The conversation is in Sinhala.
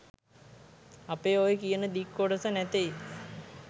අපේ ඔය කියන දික් කොටස නැතෙයි